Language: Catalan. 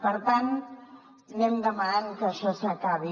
per tant anem demanant que això s’acabi